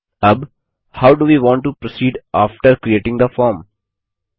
अब how do we want to proceed after creating the form